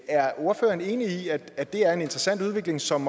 er ordføreren enig i at det er en interessant udvikling som